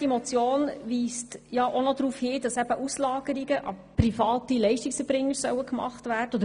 Diese Motion wünscht, dass Auslagerungen an private Leistungserbringer geprüft werden sollen.